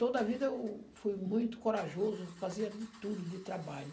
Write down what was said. Toda vida eu fui muito corajoso, fazia de tudo, de trabalho.